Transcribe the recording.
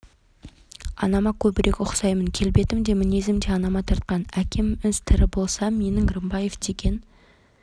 анама көбірек ұқсаймын келбетім де мінезім де анама тартқан әкеміз тірі болса менің рымбаев деген